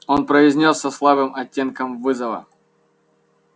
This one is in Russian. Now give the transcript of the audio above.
он произнёс со слабым оттенком вызова